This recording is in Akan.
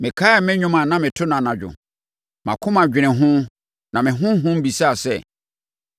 mekaee me nnwom a na meto no anadwo. Mʼakoma dwenee ho na me honhom bisaa sɛ: